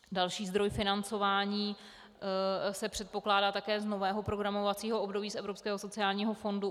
Další zdroj financování se předpokládá také z nového programovacího období z evropského sociálního fondu.